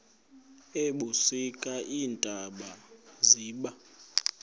ebusika iintaba ziba